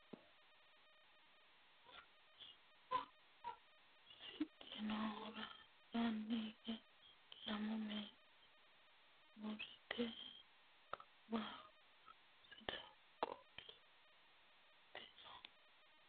badheenni quchumu gobbate jirora yitanno borro seeda bayeecho noowa duuchu dani sicci noohura albaanni hige lamu manni uurrrite goowaho sidaamu qolo wodhite no